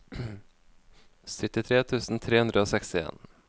syttitre tusen tre hundre og sekstien